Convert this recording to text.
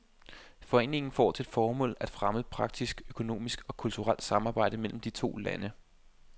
Foreningen får til formål at fremme praktisk, økonomisk og kulturelt samarbejde mellem de to lande.